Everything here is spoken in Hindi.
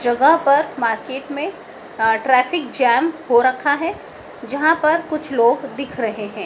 जगह पर मार्केट में अ ट्रैफिक जाम हो रखा है जहां पर कुछ लोग दिख रहे हैं।